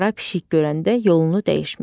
Qara pişik görəndə yolunu dəyişmək.